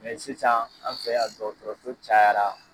Mɛ sisan, an fɛ yan dɔgɔtɔrɔso cayara.